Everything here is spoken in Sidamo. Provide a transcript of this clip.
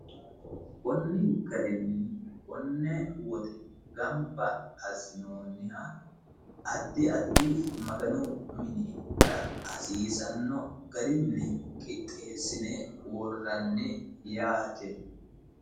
Koni garinni kone woxe gamba assinonniha addi addi Maganu minira hasiisano garinni qixxeesine worranni yaate.